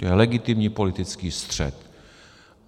To je legitimní politický střet.